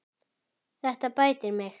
Þetta bætir mig.